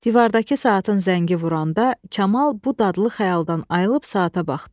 Divardakı saatın zəngi vuranda Kamal bu dadlı xəyaldan ayılıb saata baxdı.